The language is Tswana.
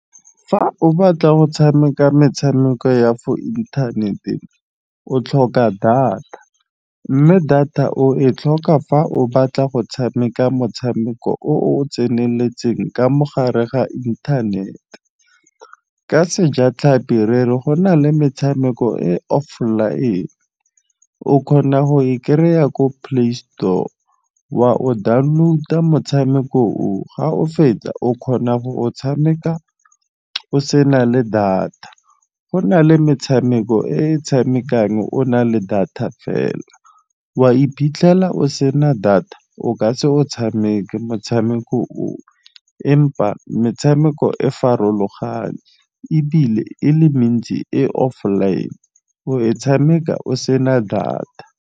Fa o batla go tshameka metshameko ya for inthanete o tlhoka data, mme data o e tlhoka fa o batla go tshameka motshameko o o tseneletseng ka mo gare ga inthanete. Ka sejatlhapi re re go na le metshameko e offline. O kgona go e kry-a ko Play Store, wa o download-a motshameko o ga o fetsa o kgona go o tshameka o sena le data. Go na le metshameko e tshamekang o na le data fela, wa e iphitlhela o sena data o ka se o tshameka motshameko o. Empa metshameko e farologane ebile e le mentsi e offine o e tshameka o sena data.